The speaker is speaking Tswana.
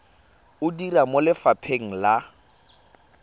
o dira mo lefapheng la